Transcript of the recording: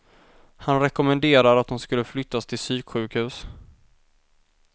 Han rekommenderar att hon skulle flyttas till psyksjukhus.